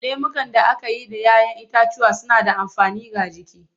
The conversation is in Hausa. Lemukan da aka yi da 'ya 'yan itatuwa suna da amfani ga jiki.